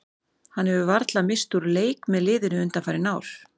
Hann hefur varla misst úr leik með liðinu undanfarin ár.